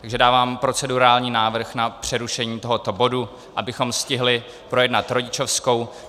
Takže dávám procedurální návrh na přerušení tohoto bodu, abychom stihli projednat rodičovskou.